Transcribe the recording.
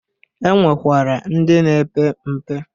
E nwekwara ndi na-epe mpe.